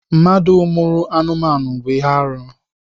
Mmadụ mụrụ anụmanụ bụ ihe arụ.